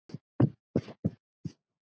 Þar sem Björn í